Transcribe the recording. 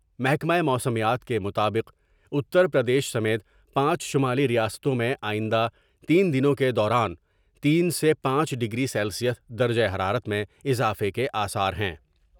محکمہ موسمیات کے مطابق اتر پردیش سمیت پانچ شمالی ریاستوں میں آئندہ تین دنوں کے دوران تین سے پانچ ڈگری سیلسیس درجہ حرارت میں اضافے کے آثار ہیں ۔